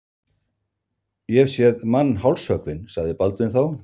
Ég hef séð mann hálshöggvinn, sagði Baldvin þá.